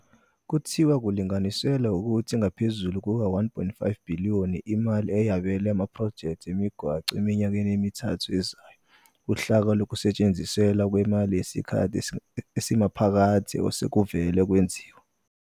Uthe kulinganiselwa ukuthi ingaphezulu kuka-R1.5 billion imali eyabelwe amaphrojekthi emigwaqo eminyakeni emithathu ezayo - uhlaka lokusetshenziswa kwemali yesikhathi esimaphakathi - osekuvele kwenziwe.